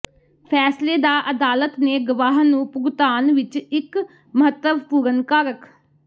ਫੈਸਲੇ ਦਾ ਅਦਾਲਤ ਨੇ ਗਵਾਹ ਨੂੰ ਭੁਗਤਾਨ ਵਿਚ ਇਕ ਮਹੱਤਵਪੂਰਨ ਕਾਰਕ